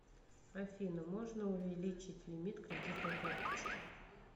афина можна увеличить лимит кредитной карточки